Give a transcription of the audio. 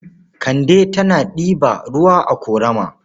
Kande tana ɗiba ruwa a ƙorama.